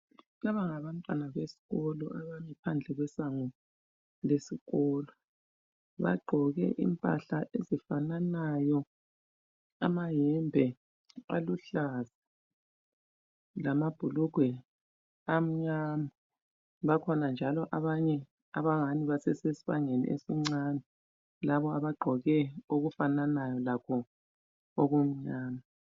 Laba ngabantwana besikolo abami phandle kwesango lesikolo. Bagqoke impahla ezifananayo, amayembe aluhlaza lamabhulugwe amnyama. Bakhona njalo abanye abangani basesesibangeni esincane. Laba bagqoke okufananayo labo okunjalo.